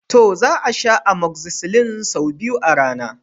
To! Za a sha amoxicillin sau biyu a rana.